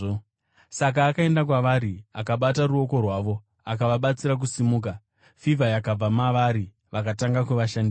Saka akaenda kwavari, akabata ruoko rwavo akavabatsira kusimuka. Fivha yakabva mavari vakatanga kuvashandira.